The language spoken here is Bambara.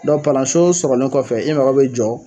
dɔ palanso sɔgɔlen kɔfɛ i mago bɛ jɔ